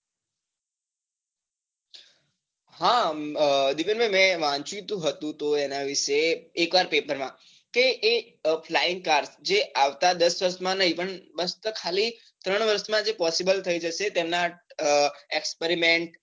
હા દીપેન ભાઈ મેં વાંચ્યું તો હતું તો એના વિષે એકવાર paper માં કે એ flying car જે આવતા દસ વર્ષ માં નહિ પણ બસ તે ખાલી ત્રણ વર્ષ માં એ possible થઈ જશે તેના experiment